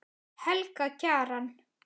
Helga Kjaran.